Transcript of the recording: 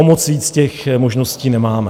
O moc víc těch možností nemáme.